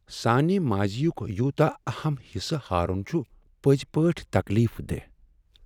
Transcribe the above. سانِہ ماضی یُک یوتاہ اہم حصہٕ ہارُن چُھ پٔزی پٲٹھۍ تکلیف دیہہ ۔